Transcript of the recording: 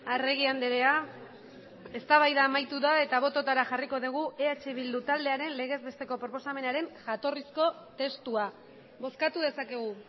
arregi andrea eztabaida amaitu da eta bototara jarriko dugu eh bildu taldearen legezbesteko proposamenaren jatorrizko testua bozkatu dezakegu